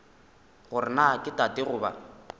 gore na ke tate goba